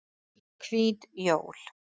Hvít jól